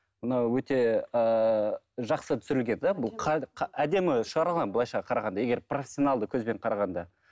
мынау өте ыыы жақсы түсірілген да бұл әдемі шығарылған былайша қарағанда егер профессионалды көзбен қарағанда